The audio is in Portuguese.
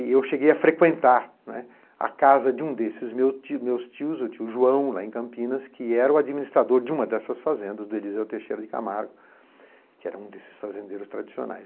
E eu cheguei a frequentar, né, a casa de um desses meus tios, o tio João, lá em Campinas, que era o administrador de uma dessas fazendas, do Elisel Teixeira de Camargo, que era um desses fazendeiros tradicionais.